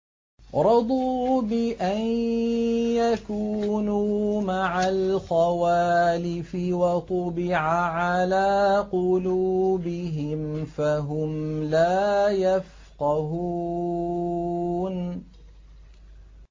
رَضُوا بِأَن يَكُونُوا مَعَ الْخَوَالِفِ وَطُبِعَ عَلَىٰ قُلُوبِهِمْ فَهُمْ لَا يَفْقَهُونَ